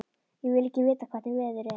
Ég vil ekki vita hvernig veður er.